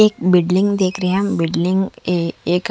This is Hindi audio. एक बिल्डिंग देख रहे हम बिल्डिंग ऐ एक--